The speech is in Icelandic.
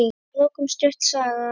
Að lokum stutt saga.